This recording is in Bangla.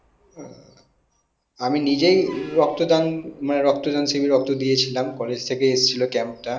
আমি নিজেই রক্তদান মানে রক্ত দান শিবির এ রক্ত দিয়েছিলাম college থেকে আসছিলো camp টা